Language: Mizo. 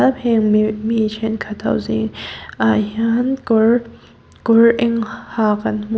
mi thenkhat ho zingah hian kawr kawr eng ha kan hmu--